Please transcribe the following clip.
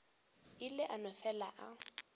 ile a no fele a